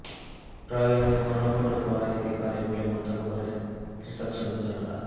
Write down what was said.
প্রয়োজনে গণভোটও করা যেতে পারে বলে মন্তব্য করেছেন কৃষক শ্রমিক জনতা